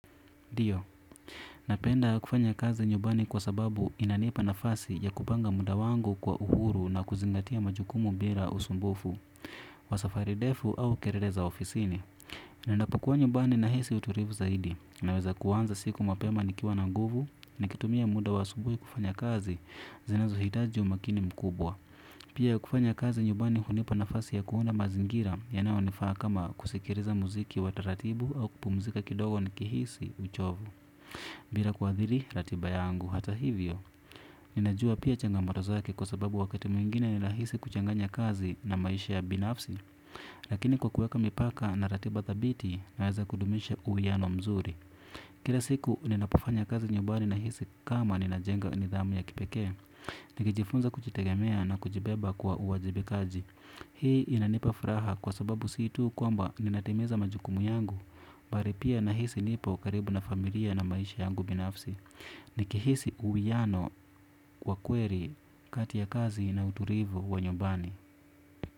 Ndio, napenda kufanya kazi nyumbani kwa sababu inanipa nafasi ya kupanga muda wangu kwa uhuru na kuzingatia majukumu bila usumbufu, wasafarindefu au kelele za ofisini. Ninapokua nyumbani na hisi utulivu zaidi, naweza kuanza siku mapema nikiwa na nguvu ni kitumia muda wa asubuhi kufanya kazi zinazo hitaji umakini mkubwa. Pia kufanya kazi nyumbani hunipa nafasi ya kuona mazingira ya nayo nifaa kama kusikiliza muziki wataratibu au kupumzika kidogo ni kihisi uchovu. Bila kuadhiri ratiba yangu hata hivyo. Ninajua pia changa motozake kwa sababu wakati mwingine nina hisi kuchanganya kazi na maisha ya binafsi. Lakini kwa kuweka mipaka na ratiba dhabiti naweza kudumisha uwiyano mzuri. Kila siku ninapofanya kazi nyumbani na hisi kama ninajenga nidhamu ya kipekee. Nikijifunza kujitegemea na kujibeba kwa uwajibikaji. Hii inanipa furaha kwa sababu siitu kwamba ninatimiza majukumu yangu. Bali pia na hisi nipo karibu na familia na maisha yangu binafsi. Nikihisi uwiyano kwa kweli kati ya kazi na utulivu wa nyumbani.